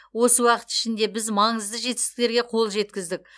осы уақыт ішінде біз маңызды жетістіктерге қол жеткіздік